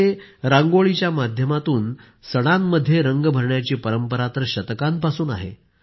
आमच्याकडे रांगोळीच्या माध्यमातून सणांमध्ये रंग भरण्याची परंपरा तर शतकांपासून आहे